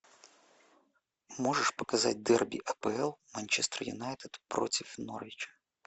можешь показать дерби апл манчестер юнайтед против норвич